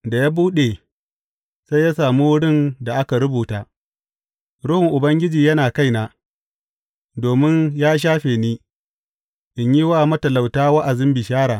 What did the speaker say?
Da ya buɗe, sai ya sami wurin da aka rubuta, Ruhun Ubangiji yana kaina, domin ya shafe ni, in yi wa matalauta wa’azin bishara.